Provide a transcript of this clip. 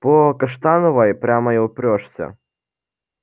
по каштановой прямо и упрёшься